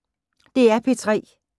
DR P3